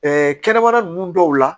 kɛnɛmana nunnu dɔw la